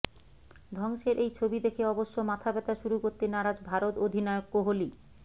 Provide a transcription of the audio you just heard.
ধ্বংসের এই ছবি দেখে অবশ্য মাথা ব্যথা শুরু করতে নারাজ ভারত অধিনায়ক কোহলি